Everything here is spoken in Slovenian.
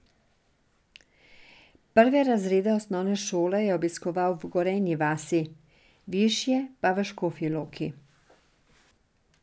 Prve razrede osnovne šole je obiskoval v Gorenji vasi, višje pa v Škofji Loki.